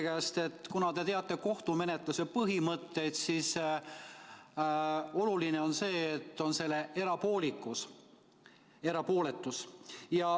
Te ju teate kohtumenetluse põhimõtteid, teate, et väga oluline on selle erapooletus.